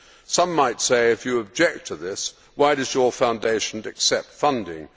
Some might say that if you object to this, why does your Foundation accept funding?